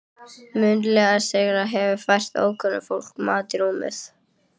Munaðarleysinginn hefur fært ókunna fólkinu mat í rúmið.